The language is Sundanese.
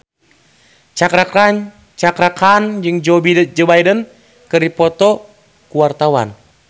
Cakra Khan jeung Joe Biden keur dipoto ku wartawan